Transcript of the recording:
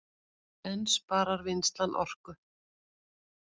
En sparar vinnslan orku